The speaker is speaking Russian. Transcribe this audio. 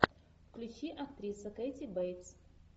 включи актриса кэти бейтс